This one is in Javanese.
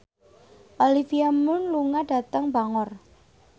Olivia Munn lunga dhateng Bangor